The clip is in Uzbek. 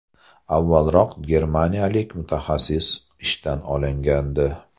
Avvalroq germaniyalik mutaxassis ishdan olingandi .